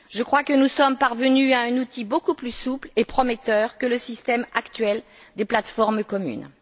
Je crois que nous sommes parvenus à un outil beaucoup plus souple et prometteur que le système actuel des plateformes communes.